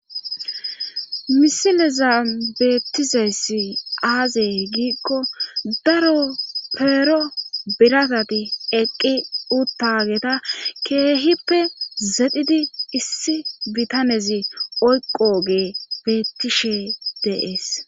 Misileza beettizayssi aazey giikko daro peero biratati eqqi uttageta keehippe zedhidi issi bitanezi oyqoge beettishe dees.